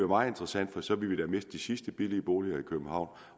meget interessant for så vil vi da miste de sidste billige boliger i københavn